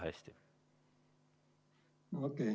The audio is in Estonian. Väga hästi.